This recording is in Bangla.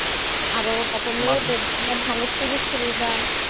আরো তারপরে সুযোগ-সুবিধা